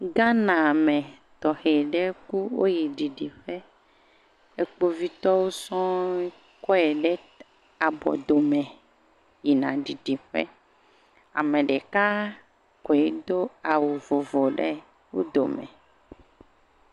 Ghana mɛ tɔxɛ ɖe ku woyi ɖiɖiƒɛ ekpovitɔwo sɔe kɔe ɖe abɔ dome yina ɖiɖiƒɛ ameɖeka koe dó awu vovo ɖe wodomɛ